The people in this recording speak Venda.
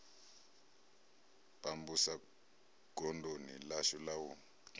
pambusa godoni ḽashu la u